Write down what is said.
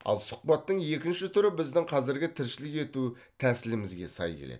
ал сұхбаттың екінші түрі біздің қазіргі тіршілік ету тәсілімізге сай келеді